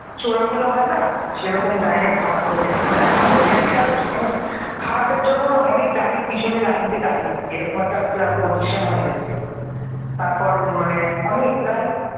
চোড়াগুলো হয় না সেরকম জায়গায় খারাপ হয়ে গেছে মানে আমাদের একটা মানে খারাপের জন্য না অনেক গাড়ির পিছনে লাইন দিয়ে দাঁড়িয়ে থাকে এরকম একটা পজিশন হয়ে গেছিল তারপর মানে অনেক প্রায়